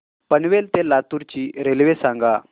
पनवेल ते लातूर ची रेल्वे सांगा